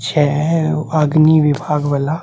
छै अग्नि विभाग वाला।